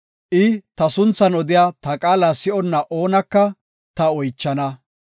I ta sunthan odiya ta qaala si7onna oonaka ta oychana.